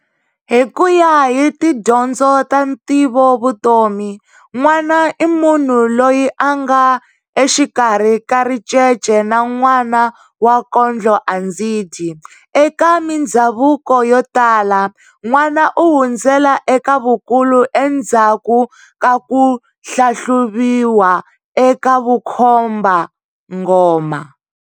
Hikuya hi tidyondzo ta ntivovutomi, n'wana i munhu loyi anga exikarhi ka ricece na n'wana wa kondlo andzidyi. Eka mindzhavuko yo tala, n'wana u hundzela eka vukulu endzaku ka kuhlahluviwa eka vukhomba-nghoma.